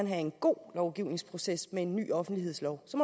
have en god lovgivningsproces med en ny offentlighedslov så